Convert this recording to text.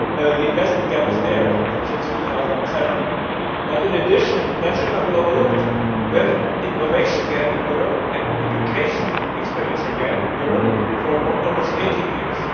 The investment gap has been there since 2007, but in addition and this should not be overlooked we have had an innovation gap and an education expenditure gap in Europe for almost 18 years.